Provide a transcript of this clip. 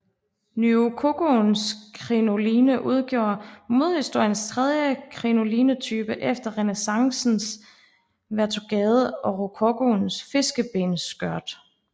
Nyrokokoens krinoline udgjorde modehistoriens tredje krinolinetype efter renæssancens vertugade og rokokoens fiskebensskørt